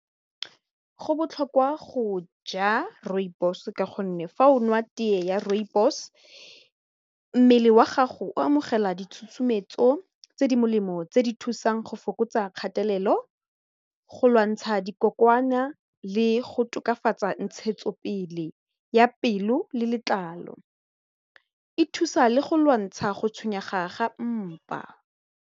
Go botlhokwa go ja rooibos ka gonne fa o nwa tee ya rooibos mmele wa gago o amogela ditshusumetso go lwantsha dikokwana le go tokafatsa ntshetsopele ya pelo le letlalo, e thusa le go lwantsha go tshwenyega ga mpa.